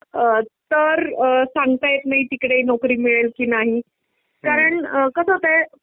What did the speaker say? तर सांगता येत नाही तिकडे ही नोकरी मिळेल की नाही कारण कसं होतंय